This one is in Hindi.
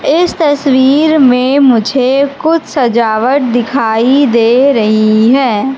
इस तस्वीर में मुझे कुछ सजावट दिखाई दे रही है।